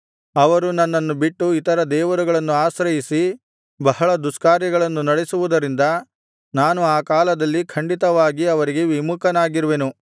ಅವರು ನನ್ನನ್ನು ಬಿಟ್ಟು ಇತರ ದೇವರುಗಳನ್ನು ಆಶ್ರಯಿಸಿ ಬಹಳ ದುಷ್ಕಾರ್ಯಗಳನ್ನು ನಡೆಸುವುದರಿಂದ ನಾನು ಆ ಕಾಲದಲ್ಲಿ ಖಂಡಿತವಾಗಿ ಅವರಿಗೆ ವಿಮುಖನಾಗಿರುವೆನು